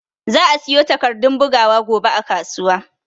Za'a siyo takardun bugawa gobe a kasuwa.